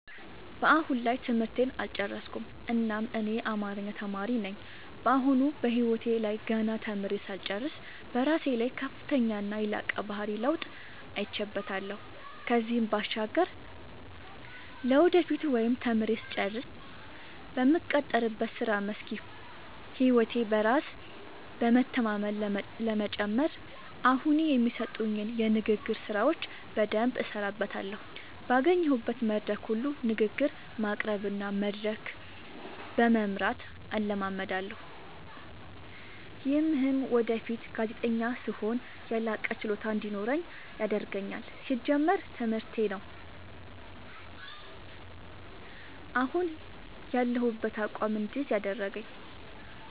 አሁን ላይ ትምህርቴን አልጨረስኩም እናም እኔ አማሪኛ ተማሪ ነኝ በአሁኑ በህይወቴ ላይ ገና ተምሬ ሳልጨርስ በራሴ ላይ ከፍተኛና የላቀ የባህሪ ለውጥ አይቼበታለው ከዚህም ባሻገር ለወደፊቱ ወይም ተምሬ ስጨርስ በምቀጠርበት የስራ መስክ ይሁን ህይወቴ በራስ በመተማመን ለመጨመር አሁኒ የሚሰጡኝን የንግግር ስራዎች በደምብ እሠራበታለሁ ባገኘሁት መድረክ ሁሉ ንግግር በማቅረብ እና መድረክ በመምራት እለማመዳለሁ። ይምህም ወደፊት ጋዜጠኛ ስሆን የላቀ ችሎታ እንዲኖረኝ ያደርገኛል። ሲጀመር ትምህርቴ ነው። አሁን ያሁበትን አቋም እድይዝ ያደረገኝ።